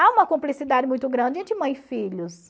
Há uma cumplicidade muito grande entre mãe e filhos.